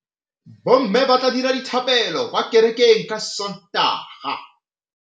Bommê ba tla dira dithapêlô kwa kerekeng ka Sontaga.